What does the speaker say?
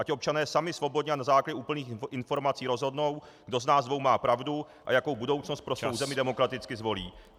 Ať občané sami svobodně a na základě úplných informací rozhodnou, kdo z nás dvou má pravdu a jakou budoucnost pro svou zemi demokraticky zvolí.